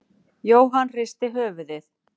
Jóhann hristi höfuðið.